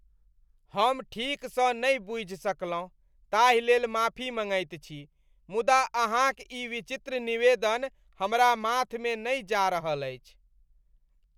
हम ठीकसँ नहि बूझि सकलहुँ ताहिलेल माफी मँगैत छी मुदा अहाँक ई विचित्र निवेदन हमरा माथमे नहि जा रहल अछि।